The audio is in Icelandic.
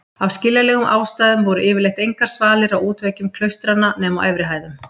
Af skiljanlegum ástæðum voru yfirleitt engar svalir á útveggjum klaustranna nema á efri hæðum.